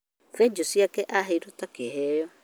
Benjũ ciake aheirwo ta kĩheo